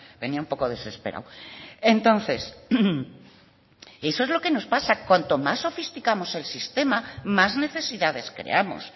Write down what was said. venía un poco desesperado entonces eso es lo que nos pasa cuanto más sofisticamos el sistema más necesidades creamos